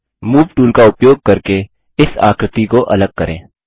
move tool का उपयोग करके इस आकृति को अलग करें